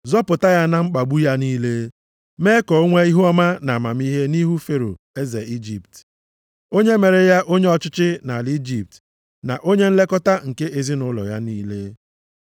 zọpụta ya na mkpagbu ya niile, mee ka o nwee ihuọma na amamihe nʼihu Fero eze Ijipt. Onye mere ya onye ọchịchị nʼala Ijipt na onye nlekọta nke ezinaụlọ ya niile.